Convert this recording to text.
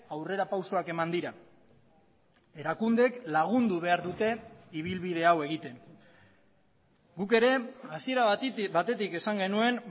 aurrerapausoak eman dira erakundeek lagundu behar dute ibilbidea hau egiten guk ere hasiera batetik esan genuen